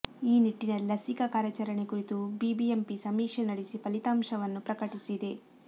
ಈ ನಿಟ್ಟಿನಲ್ಲಿ ಲಸಿಕಾ ಕಾರ್ಯಾಚರಣೆ ಕುರಿತು ಬಿಬಿಎಂಪಿ ಸಮೀಕ್ಷೆ ನಡೆಸಿ ಫಲಿತಾಂಶವನ್ನು ಪ್ರಕಟಿಸಿದೆ